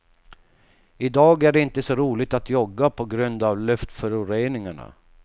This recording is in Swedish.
I dag är det inte så roligt att jogga på grund av luftföroreningarna.